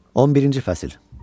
11-ci fəsil.